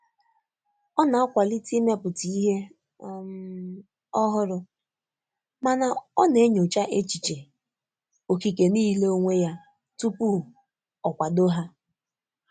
Ọ na-akwalite imepụta ihe um ọhụrụ, mana ọ na-enyocha echiche okike niile onwe ya tupu o kwado ha.